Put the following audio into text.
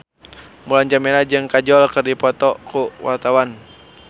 Mulan Jameela jeung Kajol keur dipoto ku wartawan